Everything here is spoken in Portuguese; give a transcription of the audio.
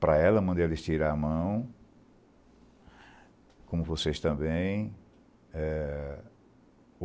Para ela, mandei ela estirar a mão, como vocês também. É